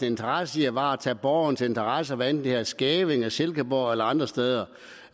interesse i at varetage borgernes interesser hvad enten det er i skævinge silkeborg eller andre steder